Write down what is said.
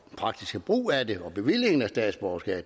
praktiske brug af det og bevillingen af statsborgerskab